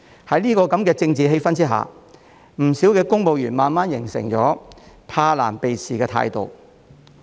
在這樣的政治氣氛下，不少公務員慢慢形成了怕難避事的態度。